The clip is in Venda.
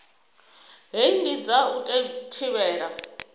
hei ndi dza u thivhela